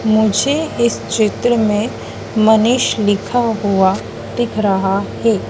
मुझे इस चित्र में मनीष लिखा हुआ दिख रहा है।